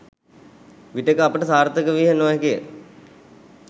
විටෙක අපට සාර්ථක විය නොහැකිය.